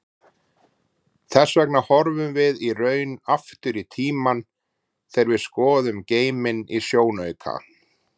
Hvers vegna horfum við í raun aftur í tímann þegar við skoðum geiminn í sjónauka?